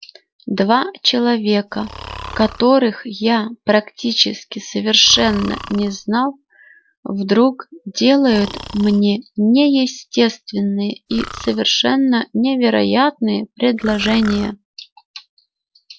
два человека которых я практически совершенно не знал вдруг делают мне неестественные и совершенно невероятные предложения